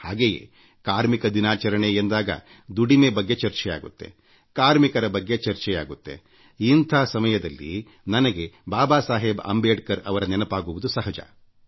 ಹಾಗೇ ಕಾರ್ಮಿಕ ದಿನಾಚರಣೆ ಎಂದಾಗ ದುಡಿಮೆ ಬಗ್ಗೆ ಚರ್ಚೆಯಾಗುತ್ತೆ ಕಾರ್ಮಿಕರ ಬಗ್ಗೆ ಚರ್ಚೆಯಾಗುತ್ತೆಇಂಥ ಸಮಯದಲ್ಲಿ ನನಗೆ ಬಾಬಾ ಸಾಹೇಬ್ ಅಂಬೇಡ್ಕರ್ ಅವರ ನೆನಪಾಗುವುದು ಸಹಜ